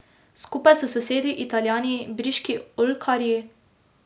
Skupaj s sosedi, Italijani, briški oljkarji peljejo uspešne evropske projekte.